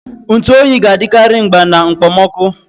Ntu oyi ga-adịkarị mgba na mkpomoku.